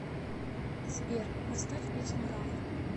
сбер поставь песню рав